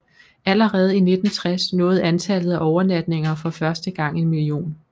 Allerede i 1960 nåede antallet af overnatninger for første gang en million